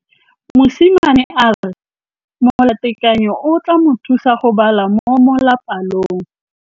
Mosimane a re molatekanyô o tla mo thusa go bala mo molapalong.